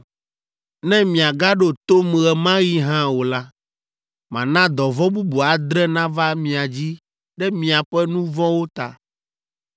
“Ne miagaɖo tom ɣe ma ɣi hã o la, mana dɔvɔ̃ bubu adre nava mia dzi ɖe miaƒe nu vɔ̃wo ta.